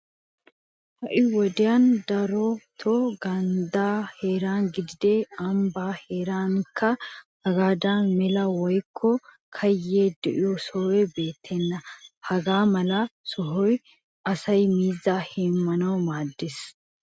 Ha"i wodiyan darotoo ganddaa heeran gidin ambbaa heerankka hagaadan mela woykko kayye de'iya sohoy beettenna. Hagaa mala sohoy asay miizzaa heemmanawu maaddees.